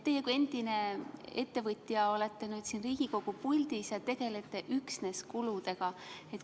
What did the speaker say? Teie kui endine ettevõtja olete nüüd siin Riigikogu puldis ja tegelete üksnes kuludega.